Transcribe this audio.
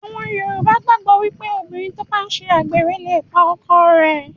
Àwọn yoòbá gbàgbọ̀ pé obìnrin tó bá n ṣe àgbèrè lè pa ọkọ rẹ̀